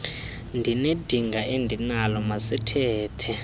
ndinedinga endinalo masithethe